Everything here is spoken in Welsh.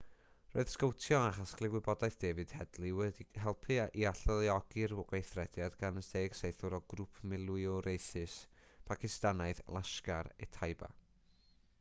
roedd sgowtio a chasglu gwybodaeth david headley wedi helpu i alluogi'r gweithrediad gan y 10 saethwr o grŵp milwriaethus pacistanaidd laskhar-e-taiba